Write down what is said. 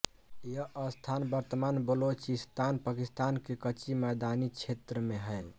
यह स्थान वर्तमान बलोचिस्तान पाकिस्तान के कच्ची मैदानी क्षेत्र में है